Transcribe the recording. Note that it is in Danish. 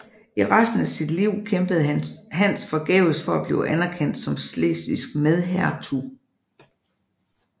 I resten af sit liv kæmpede Hans forgæves for at blive anerkendt som slesvigsk medhertug